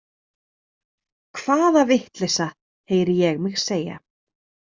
Hvaða vitleysa, heyri ég mig segja.